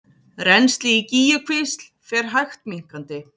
Rennsli í Gígjukvísl fer hægt minnkandi